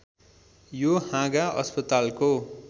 यो हाँगा अस्पतालको